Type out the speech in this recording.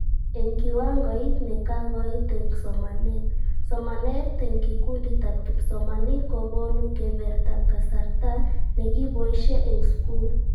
Eng kiwangoit nekakikoit eng somanet, somanet eng kikunditab kipsomanink kokonu keebertaab kasarta nekiboishe eng skul